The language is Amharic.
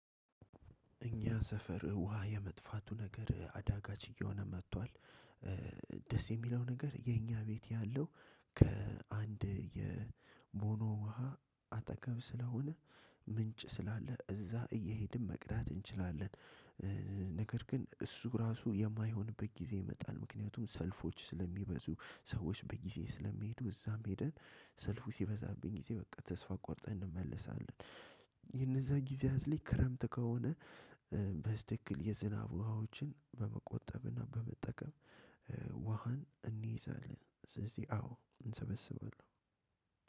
እኛ ሰፈር ውሃ የመጥፋቱ ነገር አዳጋች እየሆነ መጥቷል። ደስ የሚለው ነገር የኛ ቤት ያለው ከአንድ የቦኖ ውሃ አጠገብ ስለሆነ ምንጭ ስላለ እዛ እየሄድን መቅዳት እንችላለን። ነገር ግን እሱ ራሱ የማይሆንበት ጊዜ ይመጣል ምክንያቱም ሰልፎች ስለሚበዙ ሰዎች በጊዜ ስለሚሄዱ እዛም ሂደን ሰልፉ ሲበዛቢኝ ጊዜ በቃ ተስፋ ቆርጠን እንመለሳለን። የንዚያ ጊዜያት ግን ክረምት ከሆነ። በትክክል የዝናብ ውሃዎችን በመቆጠብና በመጠቀም። ውሃን እንይዛለን። ስለዚህ አዎ እንሰበስባለሁ።